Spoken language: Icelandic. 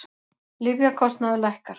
Lyfjakostnaður lækkar